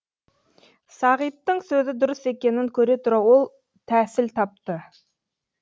сағиттің сөзі дұрыс екенін көре тұра ол тәсіл тапты